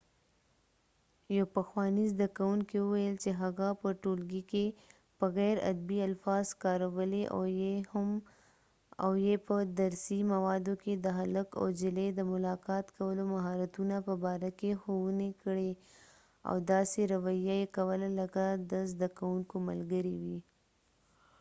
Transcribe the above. یو پخوانی زده کوونکې وويل چې هغه په ټولګی کې په غیر ادبی الفاظ کارولی او یې په درسی موادو کې د هلک او جلی د ملاقات کولو مهارتونه په باره کې ښوونی کړي او داسې رويه یې کوله لکه د زده کوونکو ملګری وي